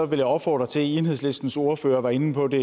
vil jeg opfordre til enhedslistens ordfører var inde på det